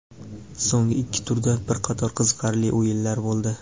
So‘nggi ikki turda bir qator qiziqarli o‘yinlar bo‘ldi.